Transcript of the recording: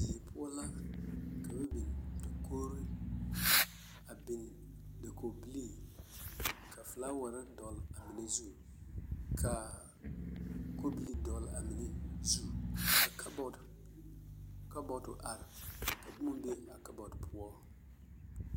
Die poɔ ka ba biŋ dakogiri, a biŋ dakogibilii, ka filaaware dɔgele a mine zu ka kobilii dɔgele a mine zu ka kabɔɔte kabɔɔto are ka boma be a kabɔɔte poɔ.